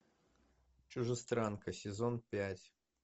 чужестранка сезон пять